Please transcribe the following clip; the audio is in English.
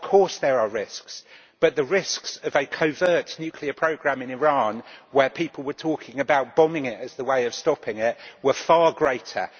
Of course there are risks, but the risks of a covert nuclear programme in Iran, where people were talking about bombing it as the way of stopping it, were far greater.